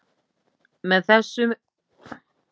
með þessu móti sýni menn kristilega auðmýkt á táknrænan hátt